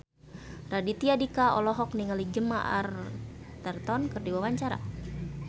Raditya Dika olohok ningali Gemma Arterton keur diwawancara